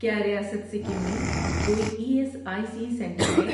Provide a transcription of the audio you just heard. کیا ریاست سکم میں کوئی E S I C centre ہے؟